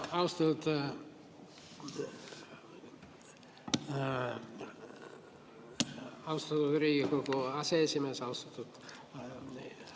Aitäh, austatud Riigikogu aseesimees!